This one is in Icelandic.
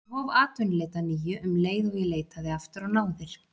Ég hóf atvinnuleit að nýju um leið og ég leitaði aftur á náðir